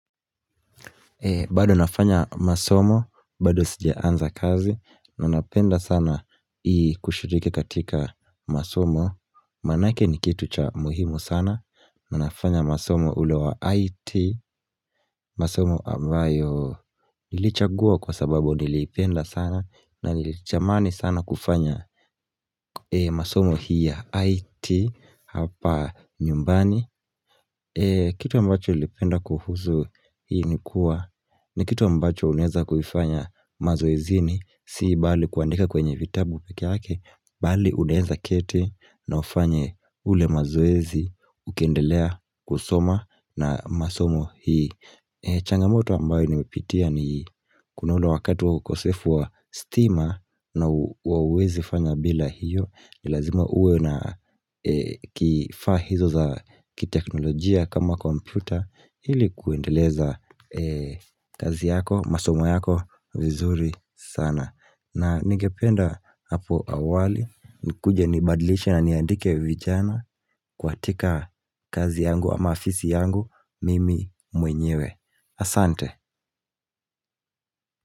Bado nafanya masomo, bado sija anza kazi, manapenda sana i kushiriki katika masomo, manake ni kitu cha muhimu sana, nanafanya masomo ulewa IT, masomo ambayo ilichagua kwa sababu nilipenda sana, na nilichamani sana kufanya masomo hii ya IT hapa nyumbani. Kitu ambacho ilipenda kuhuzu hii ni kuwa ni kitu ambacho unaeza kuifanya mazoezini si bali kuandika kwenye vitabu pekeake Bali unaeza keti na ufanye ule mazoezi ukendelea kusoma na masomo hii changamoto ambayo nimepitia ni kuna ule wakatu ukosefu wa steamer na uwezi fanya bila hiyo. Nilazima uwe na kifaahizo za kiteknolojia kama komputa ilikuendeleza kazi yako, masomo yako vizuri sana. Na ningependa hapo awali, nikuja nibadlishe na niandike vijana kwa tika kazi yangu ama afisi yangu mimi mwenyewe. Asante.